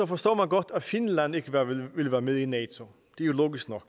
forstår man godt at finland ikke vil være med i nato det er jo logisk nok